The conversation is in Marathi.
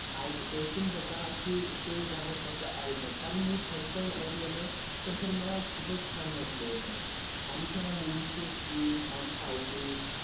ऐकून बघा की ते गाणं कसं आहे तर कारण मी first time ऐकलं ना तर sir मला खूपच छान वाटलं होतं. आणि त्या movie चे scenes and fighting